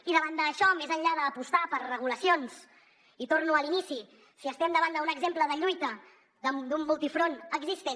i davant d’això més enllà d’apostar per regulacions i torno a l’inici si estem davant d’un exemple de lluita d’un multifront existent